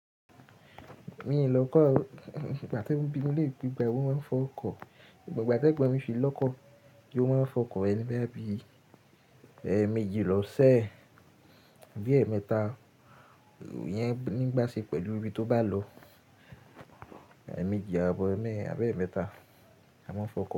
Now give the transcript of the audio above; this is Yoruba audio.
Mi ò lọ́kọ̀ ọ́. Ìgbà tí wọ́n bí mi léere pé ìgbàwo ni o máa ń fọ ọkọ̀. Ìgbà tí egon mi fi ní ọkọ̀ mo ma fọ ọkọ̀ rẹ̀ bóyá bí ẹ̀mejì loo se bí eme ta iyẹn ni bá ṣe pẹ̀lú ibi tio bá lọ ẹ́ẹ̀mejì, àbọ́ ẹ́ẹ̀mẹ́ àbí ẹ́ẹ̀mẹta, a máa ń fọ ọkọ̀